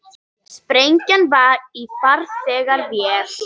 Sprengja var í farþegavél